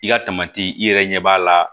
I ka i yɛrɛ ɲɛ b'a la